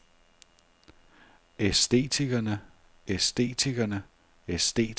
æstetikerne æstetikerne æstetikerne